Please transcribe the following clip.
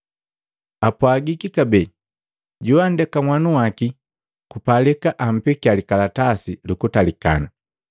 “Apwagiki kabee, ‘Joandeka nhanu waki, kupalika ampekiya likalatasi lu kutalikana.’